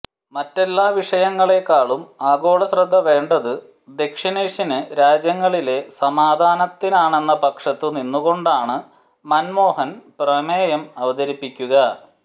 മറ്റെല്ലാ വിഷയങ്ങളെക്കാളും ആഗോളശ്രദ്ധ വേണ്ടതു ദക്ഷിണേഷ്യന് രാജ്യങ്ങളിലെ സമാധാനത്തിനാണെന്ന പക്ഷത്തു നിന്നു കൊണ്ടാണു മന്മോഹന് പ്രമേയം അവതരിപ്പിക്കുക